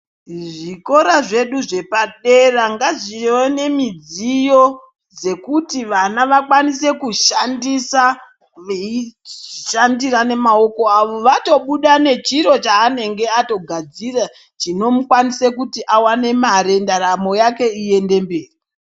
Zvikora zvedu zvepadera ngazvivewo nemidziyo yekuti vana vakwanise kushandisa veishandira nemaoko awo vatobuda nechiro chaanenge agadzira chinomukwanise kuti awane mare ndaramo yake iyende mberi.